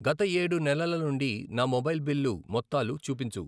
గత ఏడు నెలల నుండి నా మొబైల్ బిల్లు మొత్తాలు చూపించు.